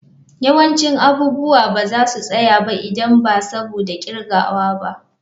Yawancin abubuwa ba za su tsaya ba idan ba saboda kirgawa ba.